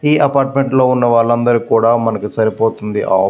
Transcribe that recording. ఈ అపార్ట్మెంట్ లో ఉన్న వాళ్ళందరికీ కూడా మనకి సరిపోతుంది.